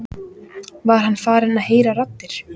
Var hann farinn að heyra raddir?